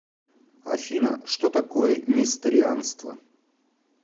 афина что такое несторианство